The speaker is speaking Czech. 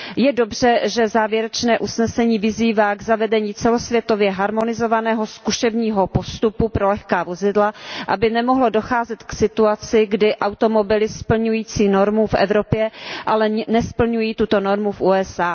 Je dobře, že závěrečné usnesení vyzývá k zavedení celosvětově harmonizovaného zkušebního postupu pro lehká vozidla, aby nemohlo docházet k situaci, kdy automobily splňují normu v Evropě, ale nesplňují tuto normu v USA.